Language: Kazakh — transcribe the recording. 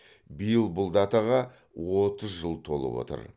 биыл бұл датаға отыз жыл толып отыр